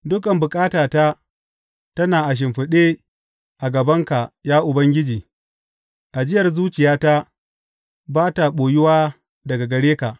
Dukan bukatata tana a shimfiɗe a gabanka, ya Ubangiji; ajiyar zuciyata ba ta ɓoyuwa daga gare ka.